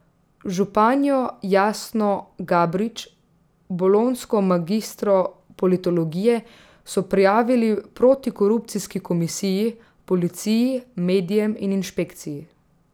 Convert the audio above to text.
Županjo Jasno Gabrič, bolonjsko magistro politologije, so prijavili protikorupcijski komisiji, policiji, medijem in inšpekciji.